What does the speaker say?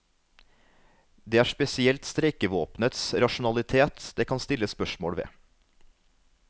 Det er spesielt streikevåpenets rasjonalitet det kan stilles spørsmål ved.